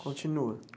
Continua?